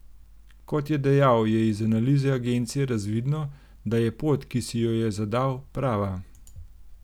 Kot je dejal, je iz analize agencije razvidno, da je pot, ki si jo je zadal, prava.